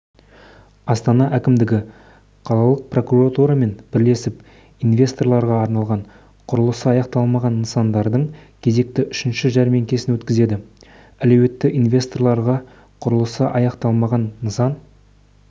астана әкімдігі қалалық прокуратурамен бірлесіп инвесторларға арналған құрылысы аяқталмаған нысандардың кезекті үшінші жәрмеңкесін өткізеді әлеуетті инвесторларға құрылысы аяқталмаған нысан